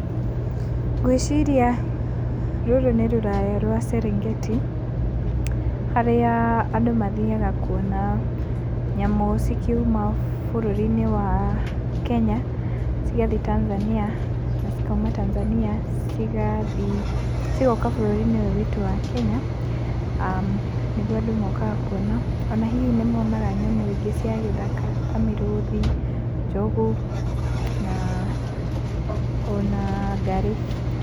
Ngwĩciria rũrũ nĩ rũraya rwa Serengeti, harĩa andũ mathiaga kuona nyamũ cikiuma bũrũri-inĩ wa Kenya cigathiĩ Tanzania, na cikauma Tanzania cigathiĩ, cigoka bũrũri-inĩ ũyũ witũ wa Kenya, aah nĩguo andũ mokaga kuona, ona hihi nĩ monaga nyamũ ingĩ cia gĩthaka ta mĩrũthi, njogu na ona ngarĩ.